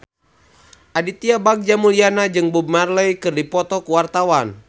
Aditya Bagja Mulyana jeung Bob Marley keur dipoto ku wartawan